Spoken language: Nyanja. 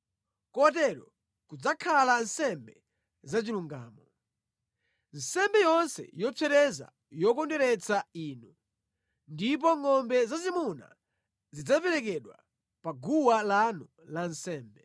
Kotero kudzakhala nsembe zachilungamo, nsembe yonse yopsereza yokondweretsa Inu; ndipo ngʼombe zazimuna zidzaperekedwa pa guwa lanu la nsembe.